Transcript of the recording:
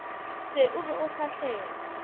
se o be o fahlele